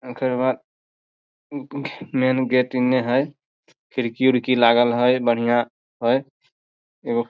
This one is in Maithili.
ओकर बाद मैन गेट इने हेय खिड़की-उड़की लागल हेय बढ़िया हेय एगो --